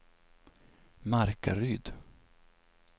Markaryd